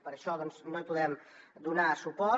per això no hi podem donar suport